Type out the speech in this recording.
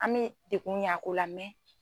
An bɛ dekun ɲ'a ko la